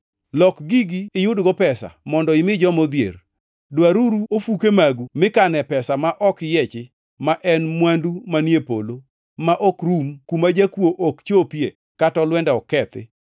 Lok gigi iyudgo pesa mondo imi joma odhier. Dwaruru ofuke magu mikane pesa ma ok yiechi ma en mwandu manie polo ma ok rum kuma jakuo ok chopie kata olwenda ok kethi.